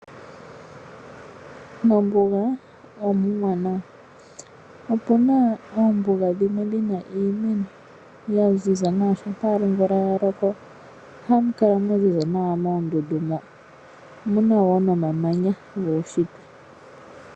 Mombuga omuwanawa. Opuna oombuga dhimwe dhina iimeno ya ziza nawa shampa omvula ya loko. Ohamu kala mwa ziza nawa moondundu mo. Omuna wo nomamanya guunshitwe.